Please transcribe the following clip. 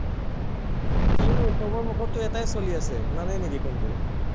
কিনো চবৰে মুখত এটায়ে চলি আছে, শুনা নাই নেকি কোনটো?